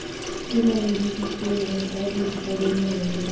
ke ba hodisitsweng ka dikgalemelo